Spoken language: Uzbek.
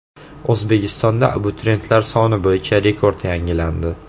O‘zbekistonda abituriyentlar soni bo‘yicha rekord yangilandi.